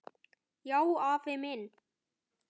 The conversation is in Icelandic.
Já, afi minn.